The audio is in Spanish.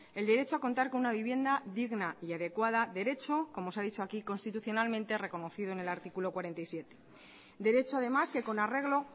el derecho a contar con una vivienda digna y adecuada derecho como se ha dicho aquí constitucionalmente reconocido en el artículo cuarenta y siete derecho además que con arreglo